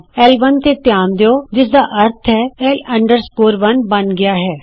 ਲ1 ਤੇ ਧਿਆਨ ਦਿਉ ਜਿਸਦਾ ਅਰਥ ਹੈ ਲ 1 ਬਣ ਗਿਆ ਹੈ